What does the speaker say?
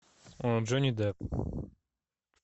джонни депп